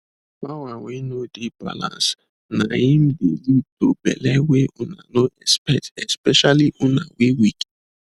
power wey no dey balancena im de lead to belle wey una no expect especially una wey weak